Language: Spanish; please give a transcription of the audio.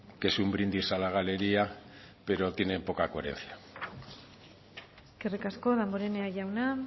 que es un brindis a la galería pero tienen poca coherencia eskerrik asko damborenea jauna